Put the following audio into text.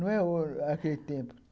Não é aquele tempo.